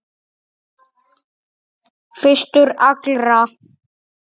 Fyrstur allra.